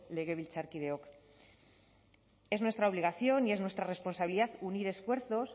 legebiltzarkideok es nuestra obligación y es nuestra responsabilidad unir esfuerzos